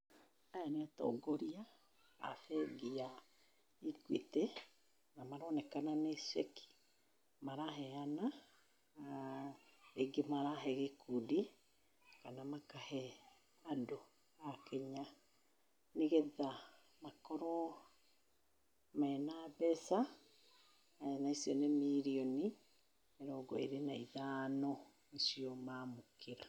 Aya nĩ atongoria a bengi ya Equity, na maronekana nĩ ceki maraheana. Na rĩngĩ marahe gĩkundi kana makahe andũ akĩnya nĩ getha makorwo mena mbeca na icio nĩ mirioni mĩrongo ĩrĩ na ithano nĩ cio mamũkĩra.